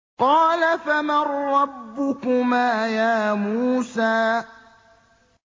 قَالَ فَمَن رَّبُّكُمَا يَا مُوسَىٰ